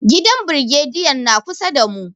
Gidan brigediyan na kusa da mu.